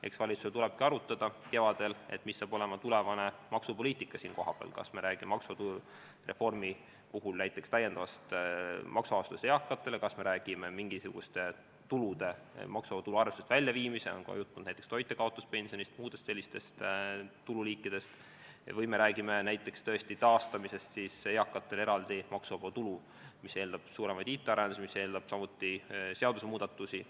Eks valitsusel tulebki arutada kevadel, mis saab olema tulevane maksupoliitika selle koha peal: kas me räägime maksureformi puhul näiteks eakate täiendavast maksuvabastusest, kas me räägime mingisuguste tulude maksuvaba tulu arvestusest väljaviimisest – on olnud juttu näiteks toitjakaotuspensionist ja muudest sellistest tululiikidest – või me räägime tõesti eakate eraldi maksuvaba tulu taastamisest, mis eeldab suuremaid IT-arendusi, samuti seadusemuudatusi.